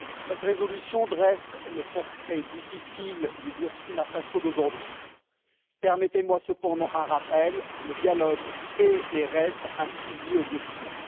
Monsieur le Président, cette résolution dresse le portrait difficile du Burkina Faso d'aujourd'hui. Permettez moi cependant un rappel le dialogue est et reste un pilier au Burkina.